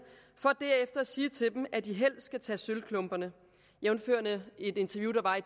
for derefter at sige til dem at de helst skal tage sølvklumperne jævnfør et interview der var i